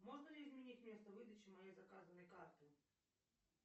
можно ли изменить место выдачи моей заказанной карты